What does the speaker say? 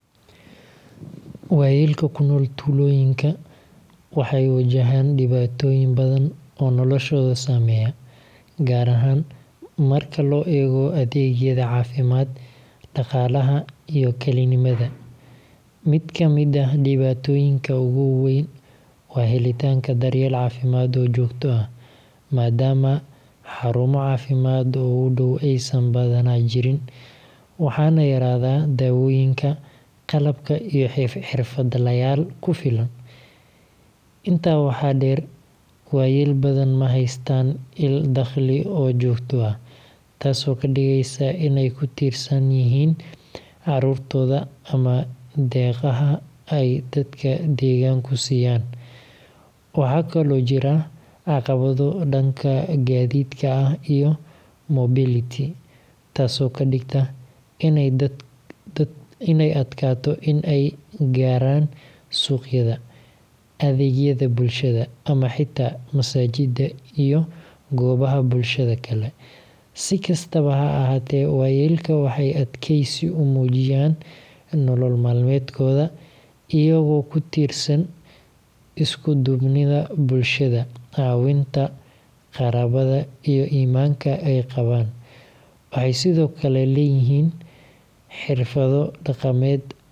Waayelka ku nool tuulooyinka waxay wajahaan dhibaatooyin badan oo noloshooda saameeya, gaar ahaan marka loo eego adeegyada caafimaad, dhaqaalaha, iyo kalinimada. Mid ka mid ah dhibaatooyinka ugu waaweyn waa helitaanka daryeel caafimaad oo joogto ah, maadaama xarumo caafimaad oo u dhow aysan badanaa jirin, waxaana yaraada daawooyinka, qalabka, iyo xirfadlayaal ku filan. Intaa waxaa dheer, waayel badan ma haystaan il dakhli oo joogto ah, taasoo ka dhigaysa in ay ku tiirsan yihiin carruurtooda ama deeqaha ay dadka deegaanku siiyaan. Waxaa kaloo jira caqabado dhanka gaadiidka ah iyo mobility, taasoo ka dhigta in ay adkaato in ay gaaraan suuqyada, adeegyada bulshada, ama xitaa masaajidda iyo goobaha bulshada kale. Si kastaba ha ahaatee, waayelka waxay adkeysi u muujiyaan nolol maalmeedkooda iyagoo ku tiirsan isku duubnida bulshada, caawinta qaraabada, iyo iimaanka ay qabaan. Waxay sidoo kale leeyihiin xirfado.